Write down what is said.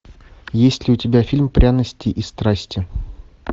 есть ли у тебя фильм пряности и страсти